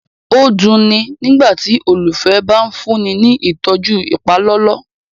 o duni nígbàtí olufẹ bá fúnni ní ìtọjú ipalọlọ